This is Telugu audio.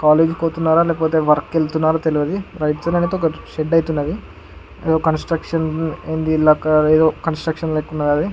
కాలేజీ కి పోతున్నారా లేకపోతే వర్క్ కి వెళ్తున్నారా తెల్వది. రైట్ సైడ్ అయితే ఒక షెడ్డు అయితే ఉన్నది. ఏదో కన్స్ట్రక్షన్ ఇల్లు లెక్క ఏదో కన్స్ట్రక్షన్ లెక్క ఉన్నది అది.